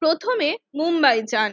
প্রথমে মুম্বাইয়ে যান